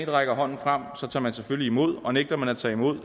rækker hånden frem tager man selvfølgelig imod den og nægter man at tage imod